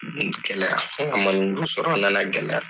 Nin gɛlɛya dɔ sɔrɔ a na na gɛlɛya.